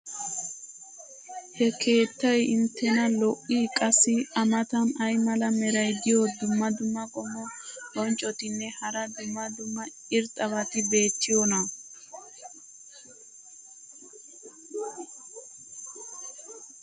ha keettay inttena lo'ii? qassi a matan ay mala meray diyo dumma dumma qommo bonccotinne hara dumma dumma irxxabati beetiyoonaa?